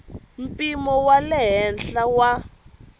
mpimo wa le henhla wa